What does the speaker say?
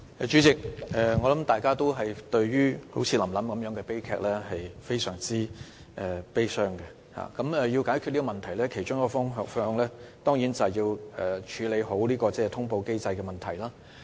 主席，我相信大家都會為"臨臨"這類悲劇感到十分悲傷，而要解決這問題，其中一個方向當然是要妥善處理通報機制的問題。